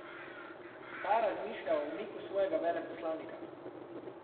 Ta razmišlja o umiku svojega veleposlanika.